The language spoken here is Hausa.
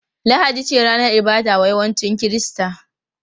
Lahadi ce ranar ibada wa yawancin Kirista.